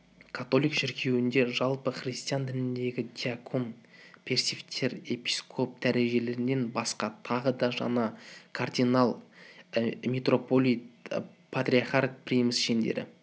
католик шіркеуінде жалпы христиан дініндегі диакон пресвиттер епископ дәрежелерінен басқа тағы да жаңа кардинал митрополит патриарх примас шендері